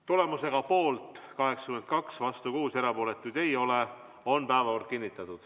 Tulemusega poolt 82, vastu 6, erapooletuid ei ole, on päevakord kinnitatud.